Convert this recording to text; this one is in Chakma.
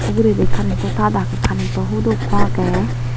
ugurendi karentow tat agey karentw hudo ekko agey.